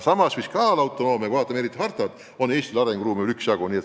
Samas, kui ma loen hartat, siis tundub, et Eestis on arenguruumi üksjagu.